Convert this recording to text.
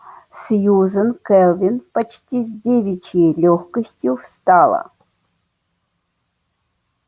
сьюзен кэлвин почти с девичьей лёгкостью встала